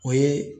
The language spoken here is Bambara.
O ye